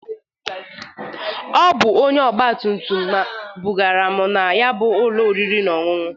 Ọ bụ onye ọgba tumtum bụgaara m na ya bụ ụlọ oriri na ọṅụṅụ.